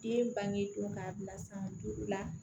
Den bange don k'a bila san duuru la